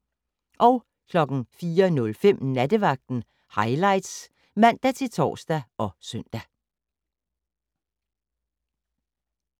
04:05: Nattevagten Highlights (man-tor og søn)